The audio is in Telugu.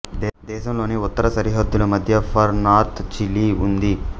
దేశంలోని ఉత్తర సరిహద్దుల మద్య ఫార్ నార్త్ చిలీ ఉంది